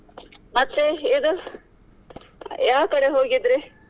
ಮತ್ತೆ ಇದು ಯಾವ್ ಕಡೆ ಹೋಗಿದ್ರಿ?